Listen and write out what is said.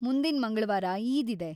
ಮುಂದಿನ ಮಂಗಳವಾರ ಈದ್‌ ಇದೆ.